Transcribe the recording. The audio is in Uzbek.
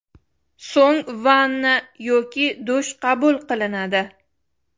So‘ng vanna yoki dush qabul qilinadi.